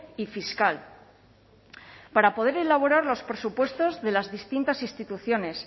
y fiscal para poder elaborar los presupuestos de las distintas instituciones